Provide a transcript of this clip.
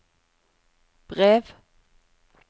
brev